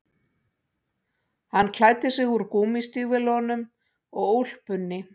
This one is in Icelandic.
Hann klæddi sig úr gúmmístígvélunum og úlpunni